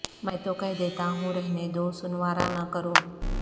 میں تو کہہ دیتا ہوں رہنے دو سنوارا نہ کرو